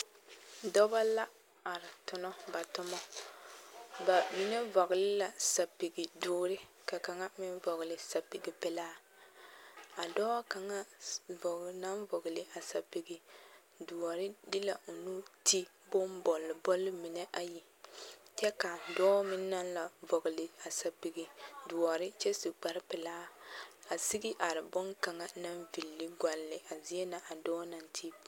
Dɔbɔ la are tonɔ ba tomɔ ba mine vɔgele la sapigi doore kaŋa meŋ vɔgele sapigi pelaa a dɔɔ kaŋa naŋ vɔgele a sapigi doɔre de la o nu ti bombolbol mine ayi kyɛ ka dɔɔ meŋ naŋ la vɔgele a sapigi doɔre kyɛ su kpare pelaa a sigi are boŋkaŋa naŋ villi gɔlle a zie na a dɔɔ naŋ ti.